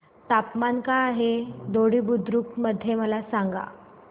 तापमान काय आहे दोडी बुद्रुक मध्ये मला सांगा